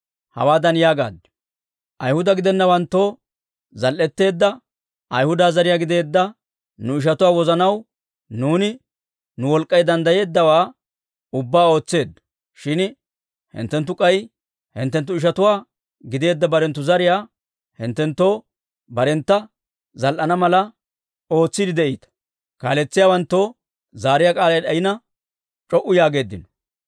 Hawaadan yaagaaddi; «Ayhuda gidennawanttoo zal"etteedda Ayhuda zariyaa gideedda nu ishatuwaa wozanaw nuuni nu wolk'k'ay danddayeeddawaa ubbaa ootseeddo. Shin hinttenttu k'ay, hinttenttu ishatuwaa gideedda hinttenttu zariyaa hinttenttoo barentta zal"ana mala ootsiide de'iita». Kaaletsiyaawanttoo zaariyaa k'aalay d'ayina, c'o"u yaageeddino.